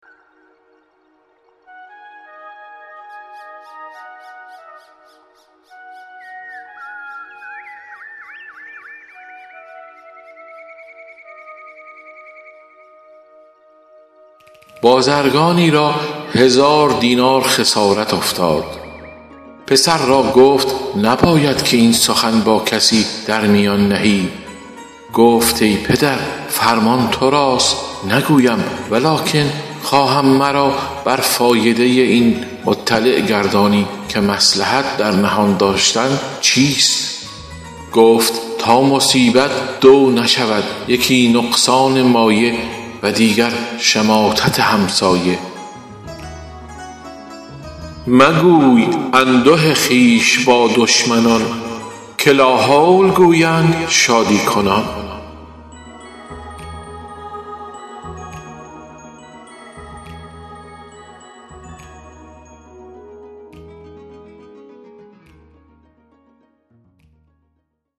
بازرگانی را هزار دینار خسارت افتاد پسر را گفت نباید که این سخن با کسی در میان نهی گفت ای پدر فرمان تو راست نگویم ولکن خواهم مرا بر فایده این مطلع گردانی که مصلحت در نهان داشتن چیست گفت تا مصیبت دو نشود یکی نقصان مایه و دیگر شماتت همسایه مگوی انده خویش با دشمنان که لاحول گویند شادی کنان